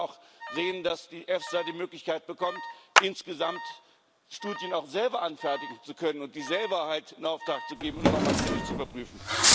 Wir müssen auch sehen, dass die EFSA die Möglichkeit bekommt, insgesamt Studien auch selber anfertigen zu können und diese selber in Auftrag zu geben und noch einmal kritisch zu überprüfen.